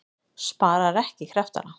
Sparar ekki kraftana.